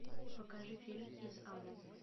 покажи фильм из ада